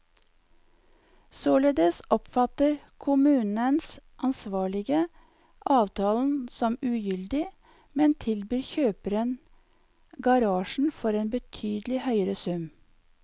Således oppfatter kommunens ansvarlige avtalen som ugyldig, men tilbyr kjøperen garasjen for en betydelig høyere sum.